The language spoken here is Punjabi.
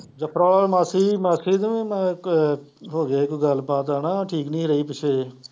ਅਤੇ ਮਾਸੀ ਦੀ ਮਾਸੀ ਦੀ ਮੈਂ ਇੱਕ ਹੋ ਗਿਆ ਕੋਈ ਗੱਲਬਾਤ ਹੈ ਨਾ, ਠੀਕ ਨਹੀਂ ਰਹੀ ਪਿੱਛੇ